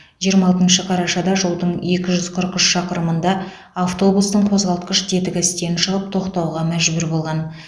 жиырма алтыншы қарашада жолдың екі жүз қырық үш шақырымында автобустың қозғалтқыш тетігі істен шығып тоқтауға мәжбүр болған